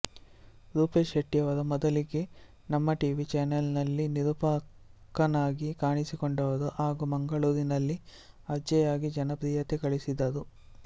ರೂಪೇಶ್ ಶೆಟ್ಟಿಯವರು ಮೊದಲಿಗೆ ನಮ್ಮಟಿವಿ ಚಾನೆಲ್ ನಲ್ಲಿ ನಿರೂಪಕನಾಗಿ ಕಾಣಿಸಿಕೊಂಡರು ಹಾಗೂ ಮಂಗಳೂರಿನಲ್ಲಿ ಆರ್ಜೆಯಾಗಿ ಜನಪ್ರಿಯತೆ ಗಳಿಸಿದರು